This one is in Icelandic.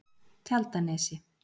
Tjaldanesi